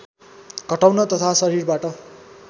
घटाउन तथा शरीरबाट